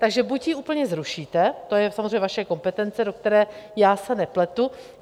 Takže buď ji úplně zrušíte, to je samozřejmě vaše kompetence, do které já se nepletu.